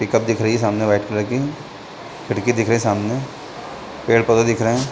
Pickup दिख रही सामने वाइट कलर की खिड़की दिख रही है सामने पेड़-पौधे दिख रहा हैं।